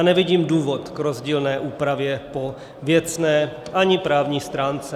A nevidím důvod k rozdílné úpravě po věcné ani právní stránce.